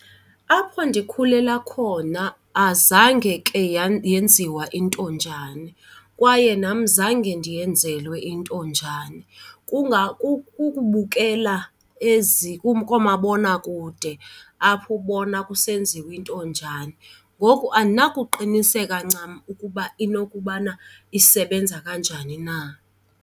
Apho ndikhulela khona azange ke yenziwa intonjane kwaye nam zange ndiyenzelwe intonjane. Kukubukela ezi koomabonakude apho ubona kusenziwa intonjane, ngoku andinakuqiniseka ncam ukuba inokubana isebenza kanjani na.